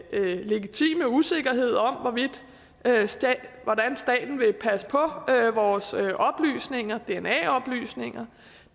legitime usikkerhed om hvordan staten vil passe på vores dna oplysninger